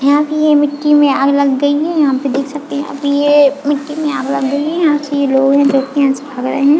यहाँ पे ये मिट्टी में आग लग गयी है यहाँ पे देख सकते है यहाँ पे ये मिट्टी में आग लग गयी है यहाँ से लोहे व्यक्ति यहाँ से भाग रहे है।